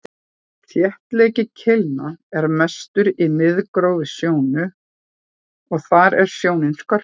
þéttleiki keilna er mestur í miðgróf sjónu og þar er sjónin skörpust